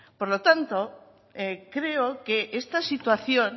por lo tanto creo que esta situación